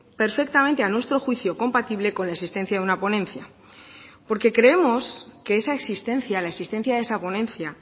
perfectamente a nuestro juicio compatible con la existencia de una ponencia porque creemos que esa existencia la existencia de esa ponencia